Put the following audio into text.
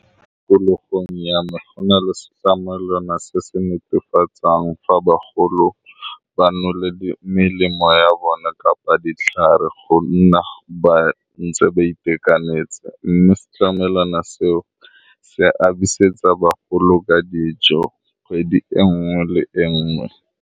Mo tikologolong ya me go na le se tsamaelwana se se netefatsang fa bagolo ba nole melemo ya bone kapa ditlhare, gonne ba ntse ba itekanetse mme se tlamelana seo se a bisetsa bagolo ka dijo kgwedi engwe le engwe.